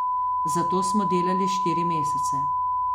Za to smo delali štiri mesece.